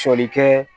Sɔli kɛ